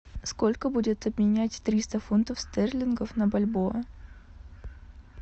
сколько будет обменять триста фунтов стерлингов на бальбоа